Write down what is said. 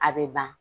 A bɛ ban